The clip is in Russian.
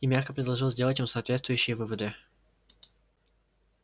и мягко предложил сделать им соответствующие выводы